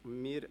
Geschäft